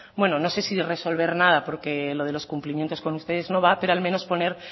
no sé si resolver nada porque lo de los cumplimientos con ustedes no va pero al menos poner